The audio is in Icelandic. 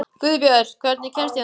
Guðbjört, hvernig kemst ég þangað?